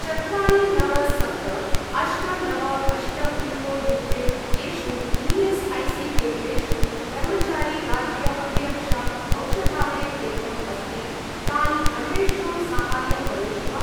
चत्वारि नव सप्त अष्ट नव अष्ट पिन्कोड् युक्ते येषु ई.एस्.ऐ.सी.केन्द्रेषु कर्मचारी राज्य अभिरक्षा औषधालयकेन्द्रम् अस्ति तानि अन्वेष्टुं साहाय्यं करोषि वा?